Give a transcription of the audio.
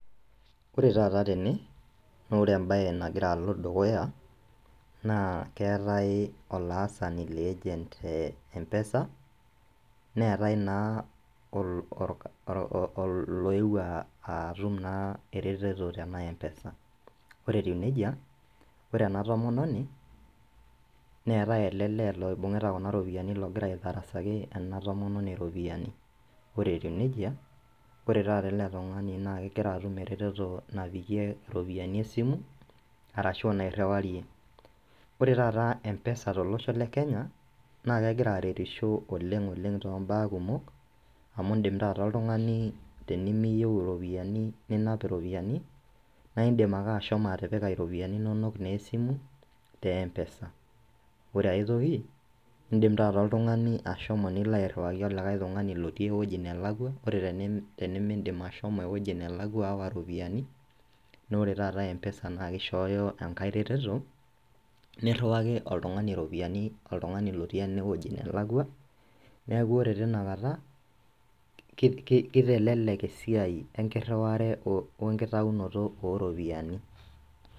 Ore taata tene nore embaye nagira alo dukuya naa keetae olaasani le agent te mpesa neetae naa ol oloewuo uh atum naa ereteto tena mpesa ore etiu nejia ore ena tomononi neetae ele lee loibung'ita kuna ropiyiani logira aitarasaki ena tomononi iropiyiani ore etiu nejia ore taata ele tung'ani naa kegira atum eretoto napikie iropiyiani esimu arashu nairriwarie ore taata mpesa tolosho le kenya naa kegira aretisho oleng oleng tombaa kumok amu indim taata oltung'ani tenimiyieu iropiyiani ninap iropiyiani naidmi ake ashomo atipika iropiyiani inonok naa esimu te mpesa ore aetoki indim taata oltung'ani ashomo nilo airriwaki olikae tung'ani lotii ewoji nelakua ore teni tenimindim ashomo ewueji nelakua aawa iropiyiani nore taata mpesa na kishooyo enkae reteto nirriwaki oltung'ani iropiyiani oltung'ani lotii enewueji nelakua neeku ore tinakata kei kitelelek esiai enkirriware wenkitainoto oropiyiani.